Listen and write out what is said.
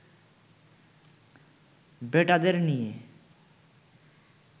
বেটাদের নিয়ে